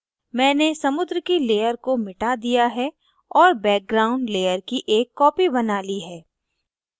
मैंने समुद्र की layer को मिटा दिया है और background layer की एक copy बना ली है